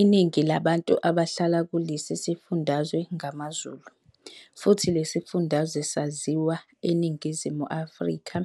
Iningi labantu abahlala kulesi sifundazwe ngamaZulu, futhi lesifundazwe saziwa eNingizimu Afrika